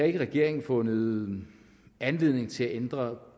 i regeringen fundet anledning til at ændre